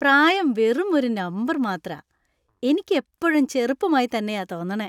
പ്രായം വെറുമൊരു നമ്പർ മാത്രാ. എനിക്ക് എപ്പൊഴും ചെറുപ്പമായി തന്നെയാ തോന്നണെ.